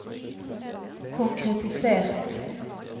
konkretisert